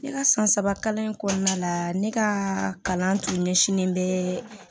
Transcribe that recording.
Ne ka san saba kalan in kɔnɔna la ne ka kalan tun ɲɛsinnen bɛ